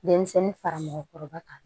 Denmisɛnnin fara mɔgɔkɔrɔba kan